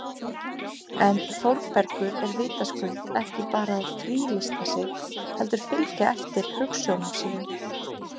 En Þórbergur er vitaskuld ekki bara að frílysta sig heldur fylgja eftir hugsjónum sínum